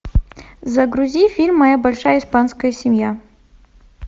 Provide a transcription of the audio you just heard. загрузи фильм моя большая испанская семья